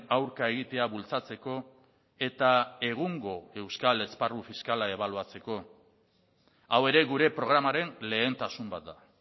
aurka egitea bultzatzeko eta egungo euskal esparru fiskala ebaluatzeko hau ere gure programaren lehentasun bat da